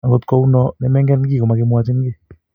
akot ko u no ne mengen ki komakimwachin kii